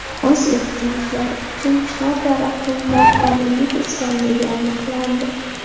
o‘z ehtiyojlari uchun chinor daraxtini noqonuniy kesganligi aniqlandi.